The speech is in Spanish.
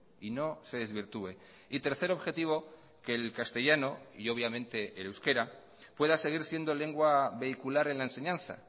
y no se desvirtúe y tercer objetivo que el castellano y obviamente el euskera pueda seguir siendo lengua vehicular en la enseñanza